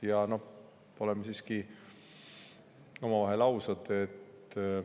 Ja noh, oleme siiski omavahel ausad.